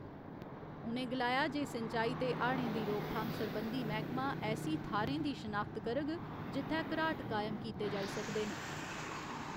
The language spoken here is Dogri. उ'नें गलाया जे सिंचाई ते हाड़ें दी रोकथाम सरबंधी मैह्‌कमा ऐसी थाह्‌रें दी शनाख्त करग जित्थै घराट कायम कीते जाई सकदे न।